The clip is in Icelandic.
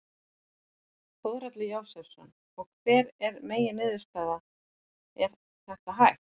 Þórhallur Jósefsson: Og hver er megin niðurstaða, er þetta hægt?